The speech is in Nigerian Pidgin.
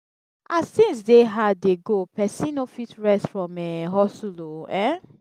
as tins dey hard dey go pesin no fit rest from um hustle o. um